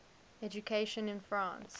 education in france